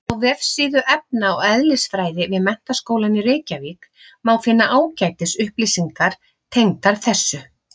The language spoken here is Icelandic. Á vefsíðu efna- og eðlisfræði við Menntaskólann í Reykjavík má finna ágætis upplýsingar tengdar þessu.